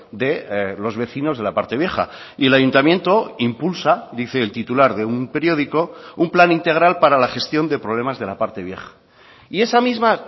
de los vecinos de la parte vieja y el ayuntamiento impulsa dice el titular de un periódico un plan integral para la gestión de problemas de la parte vieja y esa misma